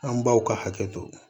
An baw ka hakɛ to